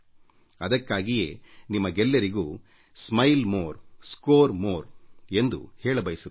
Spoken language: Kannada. ಅದಕ್ಕಾಗಿಯೇ ನಿಮಗೆಲ್ಲರಿಗೂ ನಾನು ಹೆಚ್ಚು ನಗುತ್ತಿರಿ ಮತ್ತು ಹೆಚ್ಚು ಅಂಕ ಪಡೆಯಿರಿ ಸ್ಮೈಲ್ ಮೋರ್ ಸ್ಕೋರ್ ಮೋರ್ಎಂದು ಹೇಳಬಯಸುತ್ತೇನೆ